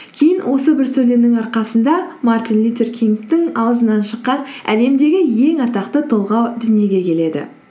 кейін осы бір сөйлемнің арқасында мартин лютер кингтің ауызынан шыққан әлемдегі ең атақты толғау дүниеге келеді